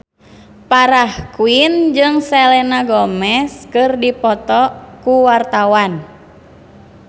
Farah Quinn jeung Selena Gomez keur dipoto ku wartawan